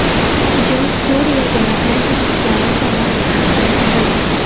Hujum Suriya demokratik kuchlari tomonidan qaytarildi.